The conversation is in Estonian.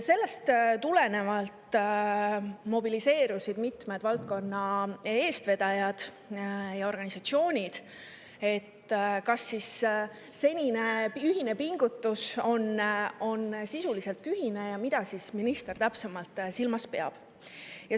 Sellest tulenevalt mobiliseerusid mitmed valdkonna eestvedajad ja organisatsioonid, kas senine ühine pingutus on siis sisuliselt tühine ja mida minister täpsemalt silmas peab.